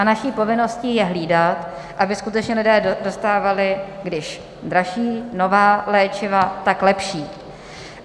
A naší povinností je hlídat, aby skutečně lidé dostávali, když dražší nová léčiva, tak lepší.